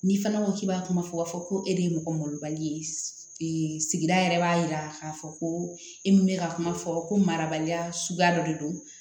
Ni fana ko k'i b'a kuma fɔ ka fɔ ko e de ye mɔgɔ malobali ye e sigida yɛrɛ b'a yira k'a fɔ ko e min bɛ ka kuma fɔ ko marabaliya suguya dɔ de don